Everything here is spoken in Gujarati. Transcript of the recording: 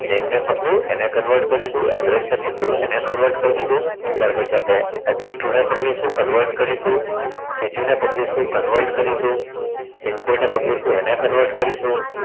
પકડ્યું એને Convert કરી દીધું address ને પકડ્યું એને Convert કરી દીધું ત્યાર પછી આપડે address to ને પકડીશું એને Convert કરી દીધું સીટી ને પકડીશું Convert કરીશું pin code ને પકડીશું એને Convert કરીશું